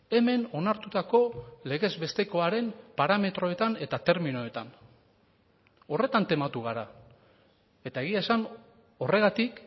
hemen onartutako legezbestekoaren parametroetan eta terminoetan horretan tematu gara eta egia esan horregatik